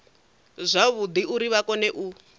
zwavhudi uri vha kone u